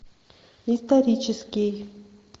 исторический